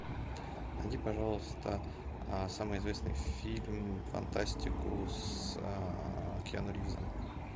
найди пожалуйста самый известный фильм фантастику с киану ривзом